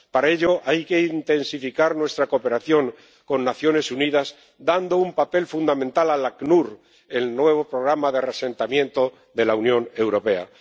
Para ello, hay que intensificar nuestra cooperación con las Naciones Unidas, dando un papel fundamental al ACNUR, el nuevo programa de reasentamiento de la Unión Europea.